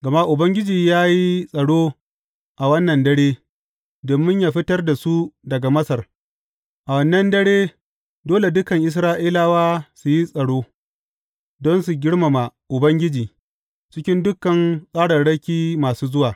Gama Ubangiji ya yi tsaro a wannan dare, domin yă fitar da su daga Masar, a wannan dare, dole dukan Isra’ilawa su yi tsaro, don su girmama Ubangiji, cikin dukan tsararraki masu zuwa.